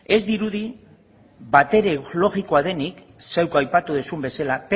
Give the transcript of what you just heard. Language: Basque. ez dirudi batere logikoa denik zeuk aipatu duzun bezala